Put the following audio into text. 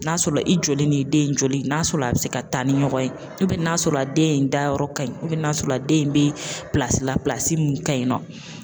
N'a sɔrɔ la i joli ni den in joli n'a sɔrɔ la a be se ka taa ni ɲɔgɔn ye ubiyɛn n'a sɔrɔ a den dayɔrɔ ka ɲi ubiyɛn n'a sɔrɔ la den in be pilasi la pilasi la min ka ɲi nɔ